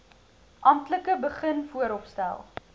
amptelik begin vooropstel